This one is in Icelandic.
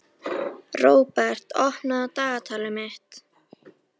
Róbert, opnaðu dagatalið mitt.